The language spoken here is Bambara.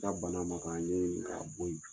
Ka bana makan an ɲɛ ye k'a bɔ yen